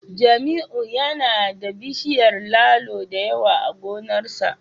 Jamiu yana da bishiyar lalo da yawa a gonarsa